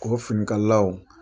Ko bɛ finikalalaw